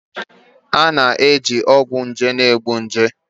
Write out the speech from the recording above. A na-eji ọgwụ nje na-egbu nje